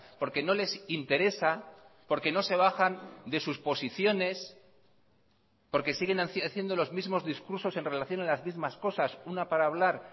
porque no les interesa porque no se bajan de sus posiciones porque siguen haciendo los mismos discursos en relación a las mismas cosas una para hablar